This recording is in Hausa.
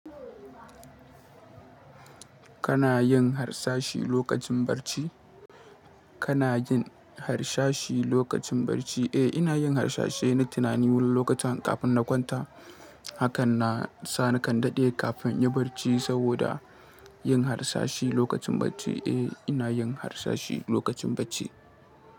Kana yin harsashi lokacin barci? Kana yin harsashi lokacin barci? Eh, ina yin harsashi na tunani wani lokaci kafin na kwanta. Haka na sa na kan daɗe kafin in yi barci saboda yin harsashi lokacin barci. Eh, ina yin harsashi lokacin barci.